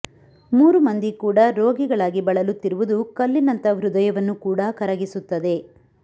ಮೂರು ಮಂದಿ ಕೂಡ ರೋಗಿಗಳಾಗಿ ಬಳಲುತ್ತಿರುವುದು ಕಲ್ಲಿನಂತ ಹೃದಯವನ್ನು ಕೂಡಾ ಕರಗಿಸುತ್ತದೆ